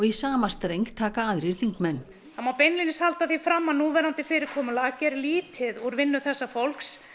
sama streng taka aðrir þingmenn það má beinlínis halda því fram að núverandi fyrirkomulag geri lítið úr vinnu þessa fólks